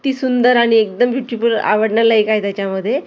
ती सुंदर आणि एकदम ब्युटीफूल काय त्याच्यामध्ये?